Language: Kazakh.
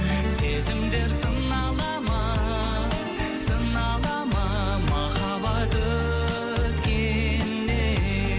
сезімдер сынала ма сынала ма махаббат өткенде